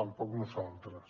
tampoc nosaltres